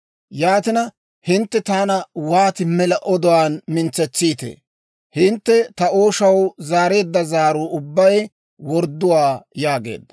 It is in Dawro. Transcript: Yaatina, hintte taana wooti mela oduwaan mintsetsiitee? Hintte ta ooshaw zaareedda zaaruu ubbay wordduwaa!» yaageedda.